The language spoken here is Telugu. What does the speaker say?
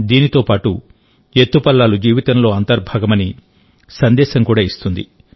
దీంతో పాటు ఎత్తుపల్లాలు జీవితంలో అంతర్భాగమని సందేశం కూడా ఇస్తుంది